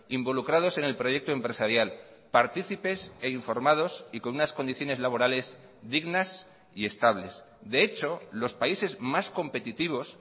involucrados en el proyecto empresarial partícipes e informados y con unas condiciones laborales dignas y estables de hecho los países más competitivos